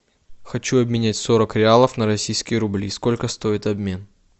хочу обменять сорок реалов на российские рубли сколько стоит обмен